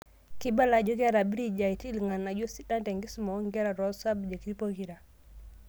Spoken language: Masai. Keibala ajo keeta BridgeIT irng'anayio sidan tenkisuma oonkera tosabjekti pokira.